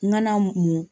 N ŋana mu